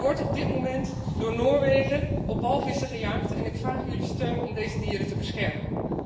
Er wordt op dit moment door Noorwegen op walvissen gejaagd en ik vraag jullie steun om deze dieren te beschermen.